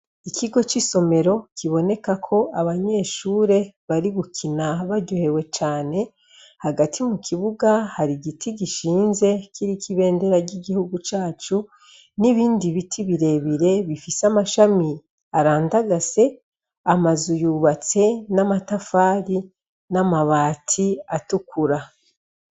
Ikigo c'isomero kibonekako abanyeshure bari gukina baryohewe cane hagati mu kibuga hari igiti gishinze kiriko ibendera ry'igihugu cacu n'ibindi biti birebire bifise amashami arandagase, amazu yubatse n'amatafari n'amabati atukura.